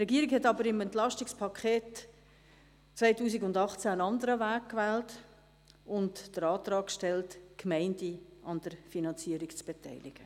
Die Regierung wählte im EP 2018 aber einen anderen Weg und stellte und den Antrag, die Gemeinden an der Finanzierung zu beteiligen.